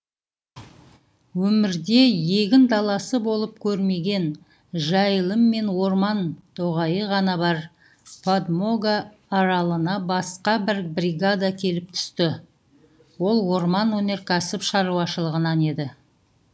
өмірде егін даласы болып көрмеген жайылым мен орман тоғайы ғана бар подмога аралына басқа бір бригада келіп түсті ол орман өнеркәсіп шаруашылығынан еді